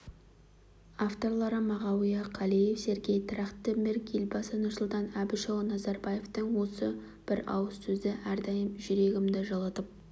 авторлары мағауия қалиев сергей трахтенберг елбасы нұрсұлтан әбішұлы назарбаевтың осы бір ауыз сөзі әрдайым жүрегімді жылытып